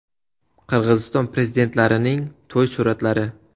Qirg‘iziston prezidentlarining to‘y suratlari .